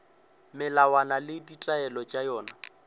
melawana le ditaelo tša yona